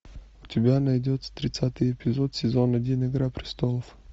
у тебя найдется тридцатый эпизод сезон один игра престолов